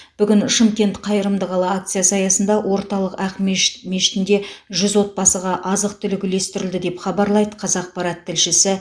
бүгін шымкент қайырымды қала акциясы аясында орталық ақ мешіт мешітінде жүз отбасыға азық түлік үлестірілді деп хабарлайды қазақпарат тілшісі